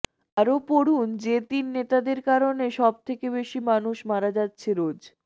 আরও পড়ুন যে তিন নেতাদের কারণে সবথেকে বেশি মানুষ মারা যাচ্ছে রোজ